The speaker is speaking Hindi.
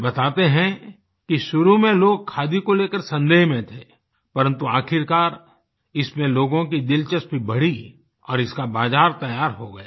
वे बताते हैं कि शुरू में लोग खादी को लेकर संदेह में थे परन्तु आख़िरकार इसमें लोगों की दिलचस्पी बढ़ी और इसका बाज़ार तैयार हो गया